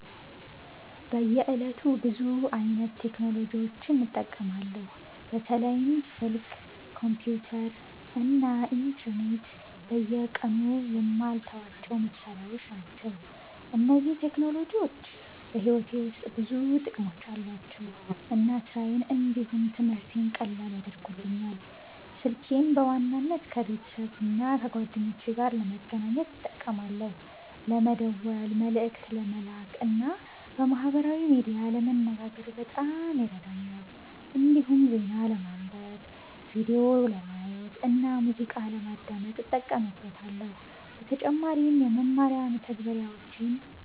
በየዕለቱ ብዙ አይነት ቴክኖሎጂዎችን እጠቀማለሁ። በተለይም ስልክ፣ ኮምፒተር እና ኢንተርኔት በየቀኑ የማልተዋቸው መሳሪያዎች ናቸው። እነዚህ ቴክኖሎጂዎች በሕይወቴ ውስጥ ብዙ ጥቅሞች አሏቸው እና ስራዬን እንዲሁም ትምህርቴን ቀላል ያደርጉልኛል። ስልኬን በዋናነት ከቤተሰብና ከጓደኞቼ ጋር ለመገናኘት እጠቀማለሁ። ለመደወል፣ መልእክት ለመላክ እና በማህበራዊ ሚዲያ ለመነጋገር በጣም ይረዳኛል። እንዲሁም ዜና ለማንበብ፣ ቪዲዮ ለማየት እና ሙዚቃ ለማዳመጥ እጠቀምበታለሁ። በተጨማሪም የመማሪያ መተግበሪያዎችን